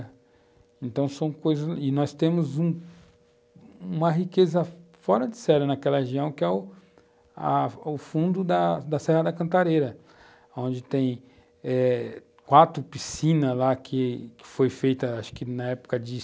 Então são coisas e nós temos um uma riqueza fora de sério naquela região, que é o fundo da Serra da Cantareira, onde tem eh quatro piscinas que foram feitas na época de